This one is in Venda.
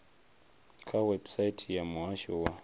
kha website ya muhasho wa